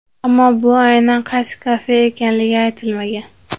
Ammo bu aynan qaysi kafe ekanligi aytilmagan.